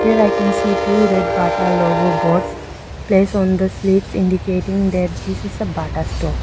here I can see two red bata logo boards place on the sleeps indicating that this is a bata store.